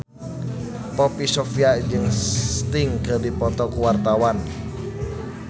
Poppy Sovia jeung Sting keur dipoto ku wartawan